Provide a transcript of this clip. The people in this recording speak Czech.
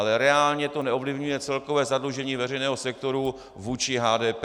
Ale reálně to neovlivňuje celkové zadlužení veřejného sektoru vůči HDP.